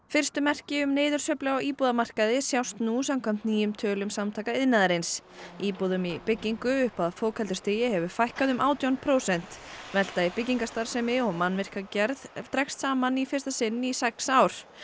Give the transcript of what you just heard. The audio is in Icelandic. fyrstu merki um niðursveiflu á íbúðamarkaði sjást nú samkvæmt nýjum tölum Samtaka iðnaðarins íbúðum í byggingu upp að fokheldu stigi hefur fækkað um átján prósent velta í byggingarstarfsemi og mannvirkjagerð dregst saman í fyrsta sinn í sex ár